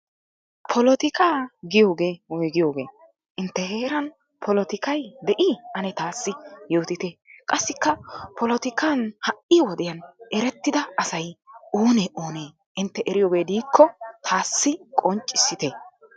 polotikkaa giyoogee woyggiyoogee? intte heeran polottikkay de'ii? ane taassi yootitte. qassiikka polotikkan ha'i wodiyan erettida asay oonee oonnee? intte eriyoogee diikko taassi qonccissitte.